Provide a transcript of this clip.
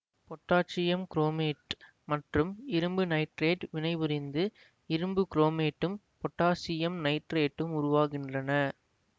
potassium chromate மற்றும் இரும்பு nitrate வினைபுரிந்து இரும்பு குரோமேட்டும் பொட்டாசியம் நைட்ரேட்டும் உருவாகின்றன